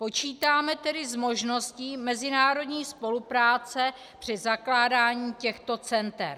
Počítáme tedy s možností mezinárodní spolupráce při zakládání těchto center.